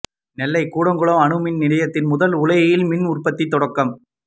நெல்லை கூடங்குளம் அணுமின் நிலையத்தின் முதல் உலையில் மின் உற்பத்தி தொடக்கம்